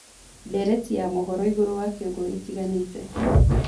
ndereti ya mohoroĩgũrũ wa kĩongo gitiganite